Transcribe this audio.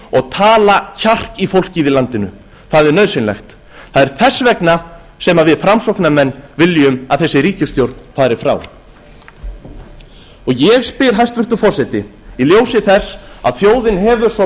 og tala kjark í fólkið í landinu það er nauðsynlegt það er þess vegna sem við framsóknarmenn viljum að þessi ríkisstjórn fari frá ég spyr hæstvirtur forseti í ljósi þess að þjóðin hefur svo